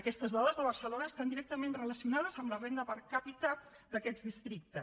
aquestes dades de barcelona estan directament relacionades amb la renda per capita d’aquests districtes